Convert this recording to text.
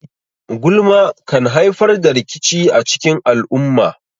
Gulma kan haifar da rikici a cikin al'umma.